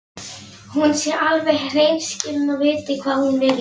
Heimild: Anna Gísladóttir og Bryndís Steinþórsdóttir.